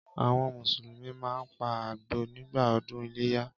Àwọn Mùsùlùmí máa ń pa àgbò nígbà ọdún iléyá.